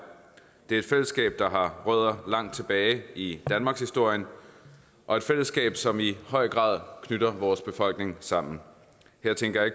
det er et fællesskab der har rødder langt tilbage i danmarkshistorien og et fællesskab som i høj grad knytter vores befolkninger sammen her tænker jeg